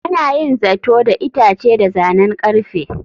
Ana yin zato da itace da zanen ƙarfe.